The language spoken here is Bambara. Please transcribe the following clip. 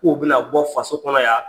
K'u bɛna bɔ faso kɔnɔ yan.